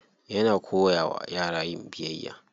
Yana koya wa yara yin biyayya.